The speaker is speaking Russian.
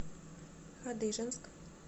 хадыженск